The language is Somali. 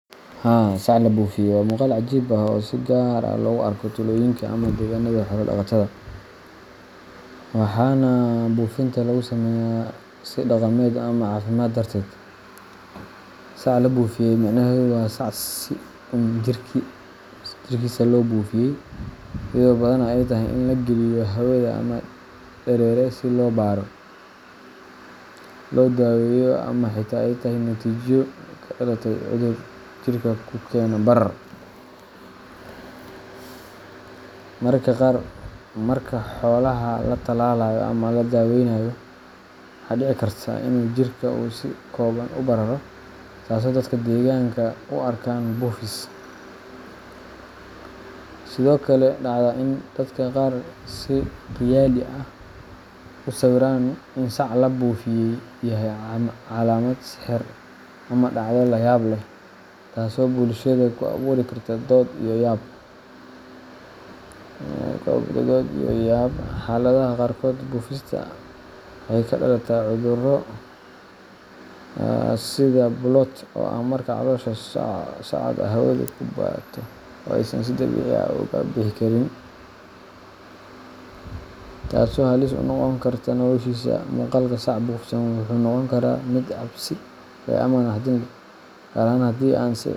Haa, sac la buufiyay waa muuqaal cajiib ah oo si gaar ah loogu arko tuulooyinka ama deegaanada xoolo-dhaqatada, waxaana buufinta lagu sameeyaa si dhaqameed ama caafimaad darteed. Sac la buufiyay micnaheedu waa sac si uun jirkiisa loo buufiyay iyadoo badanaa ay tahay in la geliyo hawada ama dareere si loo baaro, loo daweeyo, ama xitaa ay tahay natiijo ka dhalatay cudur jirka ku keena barar. Mararka qaar, marka xoolaha la tallaalayo ama la daaweynayo, waxaa dhici karta in jirka uu si kooban u bararo, taasoo dadka deegaanka u arkaan “buufis.” Waxaa sidoo kale dhacda in dadka qaar si khiyaali ah u sawiraan in sac la buufiyay yahay calaamad sixir ama dhacdo layaab leh, taasoo bulshada ku abuuri karta dood iyo yaab. Xaaladaha qaarkood, buufista waxay ka dhalataa cudurro sida bloat oo ah marka caloosha sacda hawadu ku bato oo aysan si dabiici ah uga bixi karin, taasoo halis ugu noqon karta noloshiisa. Muuqaalka sac buufsan wuxuu noqon karaa mid cabsi leh ama naxdin leh, gaar ahaan haddii aan si cilmi ah.